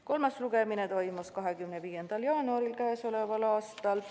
Kolmas istung toimus 25. jaanuaril.